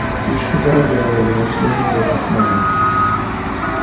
птичка дорогая ему свежий воздух нужен